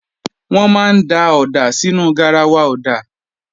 Wọ́n máa ń da ọ̀dà sínú garawa ọ̀dà